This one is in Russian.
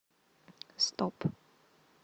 стоп